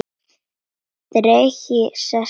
Tregi sest í augu hans.